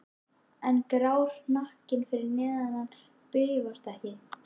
En grár hnakkinn fyrir neðan hann bifast ekki.